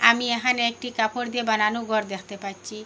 আমি এহানে একটি কাপড় দিয়ে বানানো ঘর দেখতে পাচ্ছি।